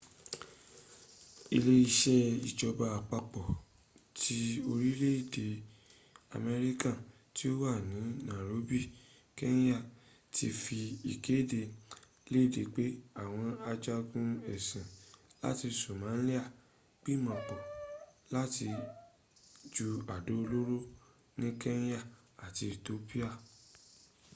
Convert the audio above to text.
ile ise ijoba apapo ti orile ede amerika ti o wa ni nairobi kenya ti fi ikede lede pe awon ajagun esin lati somalia n gbimopo lati ju ado oloro ni kenya ati ethiopia